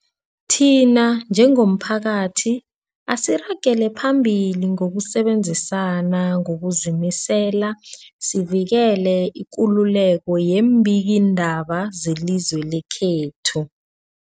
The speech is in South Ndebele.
Thina njengomphakathi, asiragele phambili ngokusebenzisana ngokuzimisela sivikele ikululeko yeembikiindaba zelizwe lekhethu.